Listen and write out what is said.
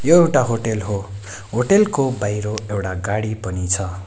एउटा होटेल हो होटेल को बाहिर एउडा गाडी पनि छ।